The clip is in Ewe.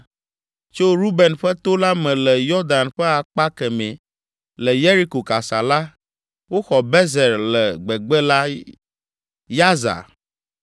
Tso Ruben ƒe to la me le Yɔdan ƒe akpa kemɛ le Yeriko kasa la, woxɔ Bezer le gbegbe la, Yaza,